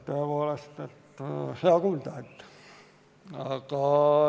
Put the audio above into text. Tõepoolest, hea kuulda.